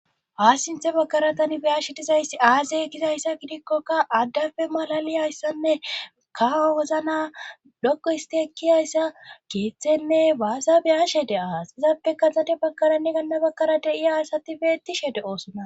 Haassinthe bakaratanibeyashe dizayssi aasey gizayssa gidikkoka addafe malali ayssonne kaa wozna dokko histi ekkiyayssa keeththenne baasa beyashe de as izappe kaxade bakaranni ganna bakkarade7i aasati beettishe de7oosona.